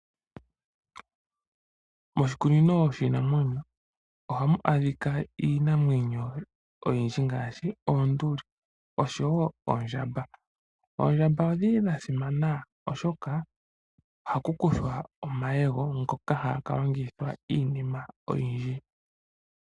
Moshikunino shiinamwenyo ohamu adhika iinamwenyo oyindji ngaashi oonduli oshowo oondjamba. Oondjamba odhili dha simana oshoka ohaku kuthwa omayego ngoka haga kalongithwa iinima oyindji.